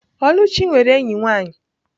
Oluchi nwere enyi nwanyi.